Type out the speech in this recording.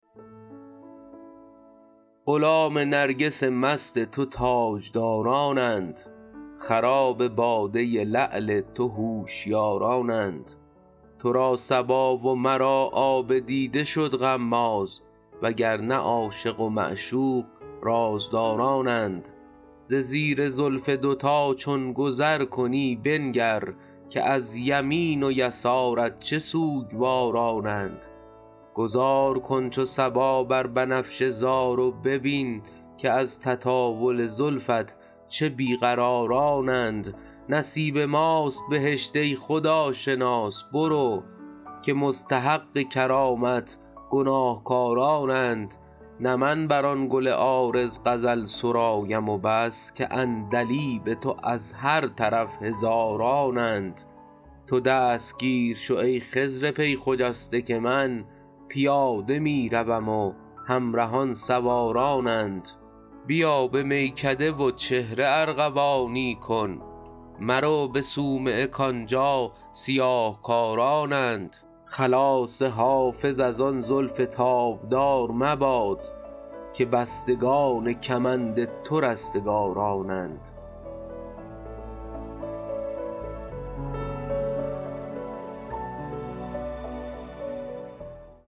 غلام نرگس مست تو تاجدارانند خراب باده لعل تو هوشیارانند تو را صبا و مرا آب دیده شد غماز و گر نه عاشق و معشوق رازدارانند ز زیر زلف دوتا چون گذر کنی بنگر که از یمین و یسارت چه سوگوارانند گذار کن چو صبا بر بنفشه زار و ببین که از تطاول زلفت چه بی قرارانند نصیب ماست بهشت ای خداشناس برو که مستحق کرامت گناهکارانند نه من بر آن گل عارض غزل سرایم و بس که عندلیب تو از هر طرف هزارانند تو دستگیر شو ای خضر پی خجسته که من پیاده می روم و همرهان سوارانند بیا به میکده و چهره ارغوانی کن مرو به صومعه کآنجا سیاه کارانند خلاص حافظ از آن زلف تابدار مباد که بستگان کمند تو رستگارانند